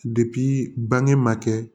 bange ma kɛ